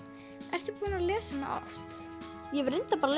ert búin að lesa hana oft ég hef reyndar bara